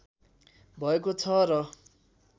भएको छ र